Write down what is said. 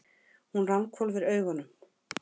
Hún ranghvolfir augunum.